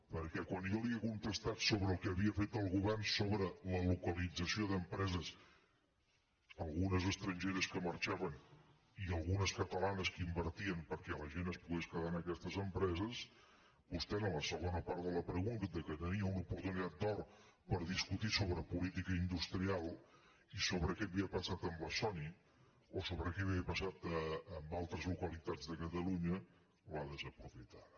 perquè quan jo li he contestat sobre el que havia fet el govern sobre la localització d’empreses algu·nes estrangeres que marxaven i algunes catalanes que invertien perquè la gent es pogués quedar en aquestes empreses vostè en la segona part de la pregunta que tenia una oportunitat d’or per discutir sobre política industrial i sobre què havia passat amb la sony o sobre què havia passat amb altres localitats de catalunya l’ha desaprofitada